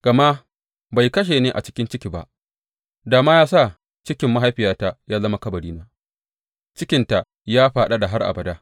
Gama bai kashe ni a cikin ciki ba, da ma ya sa cikin mahaifiyata ya zama kabarina, cikinta ya fadada har abada.